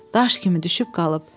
Daş kimi düşüb qalıb.